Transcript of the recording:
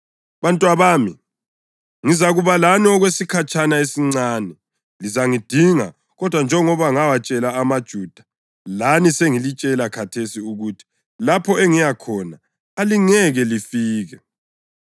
Bantwabami, ngizakuba lani okwesikhatshana esincane. Lizangidinga kodwa njengoba ngawatshela amaJuda, lani sengilitshela khathesi ukuthi: Lapho engiyakhona, alingeke lifike.